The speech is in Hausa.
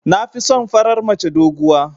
Nafison farar mace doguwa.